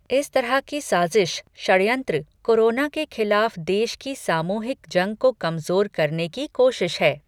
इस तरह की साजिश षड़यंत्र, कोरोना के खिलाफ देश की सामूहिक जंग को कमजोर करने की कोशिश है।